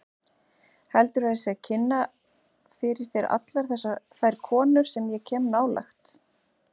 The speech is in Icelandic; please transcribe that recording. Heldurðu að ég sé að kynna fyrir þér allar þær konur sem ég kem nálægt?